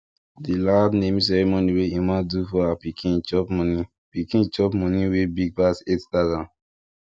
di loud naming ceremony wey emma do for her pikin chop money pikin chop money wey big pass 8000